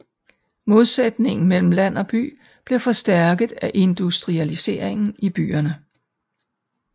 Modsætningen mellem land og by blev forstærket af industrialiseringen i byerne